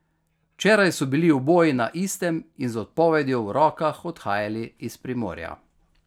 Včeraj so bili oboji na istem in z odpovedjo v rokah odhajali iz Primorja.